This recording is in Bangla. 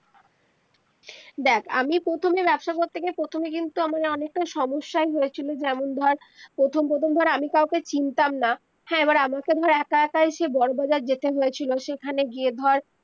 দেখ আমি প্রথমে ব্যবসা করতে গিয়ে প্রথমে কিন্তু আমার অনেক তাই সমস্যাই হয়েছিল যেমন ধর প্রথম প্রথম ধর আমি কাউকে চিনতাম না হ্যা এবার আমাকে ধর একা একাই সেই বড় বাজার যেতে হয়েছিল সেখানে গিয়ে ধর